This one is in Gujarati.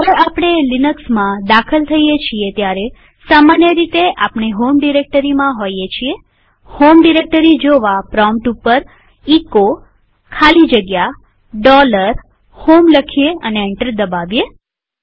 જયારે આપણે લિનક્સમાં દાખલ થઇએ છીએ ત્યારે સામાન્ય રીતે આપણે હોમ ડિરેક્ટરીમાં હોઈએ છીએહોમ ડિરેક્ટરી જોવા પ્રોમ્પ્ટ ઉપર એચો ખાલી જગ્યા HOME લખીએ અને એન્ટર દબાવીએ